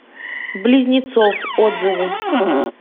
близнецов отзывы